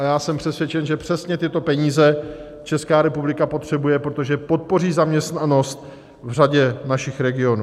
A já jsem přesvědčen, že přesně tyto peníze Česká republika potřebuje, protože podpoří zaměstnanost v řadě našich regionů.